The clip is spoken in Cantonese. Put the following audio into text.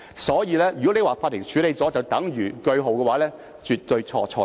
所以，如果你說法庭處理了便等於劃上句號，是絕對地錯、錯、錯。